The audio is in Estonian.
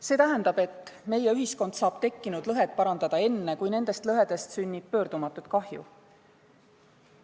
See tähendab, et meie ühiskond saab tekkinud lõhed parandada enne, kui nendest lõhedest sünnib pöördumatut kahju.